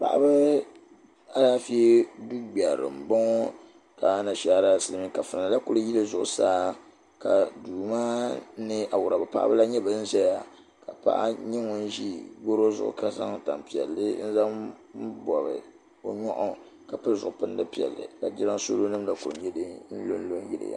Paɣaba alaafee duu gbɛrili mbɔŋɔ ka anashaara kafuna la kuli yili zuɣusaa ka duu maa nɛ ka awuraba paɣaba la nyɛ bini ziya ka paɣa nyɛ ŋuni ziya ka zaŋ tani piɛlli n-zaŋ bɔbi o nyuɣaɣu ka pili zuɣu pilindi piɛlli ka jiransawlo nima la gba kuli nyɛ dini lo n lo yili ya.